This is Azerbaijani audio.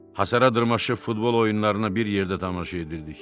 Hasara dırmaşıb futbol oyunlarına bir yerdə tamaşa edirdik.